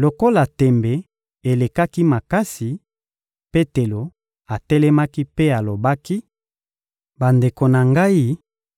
Lokola tembe elekaki makasi, Petelo atelemaki mpe alobaki: — Bandeko na ngai,